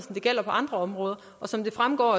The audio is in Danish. der gælder på andre områder og som det fremgår